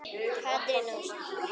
Katrín Ósk.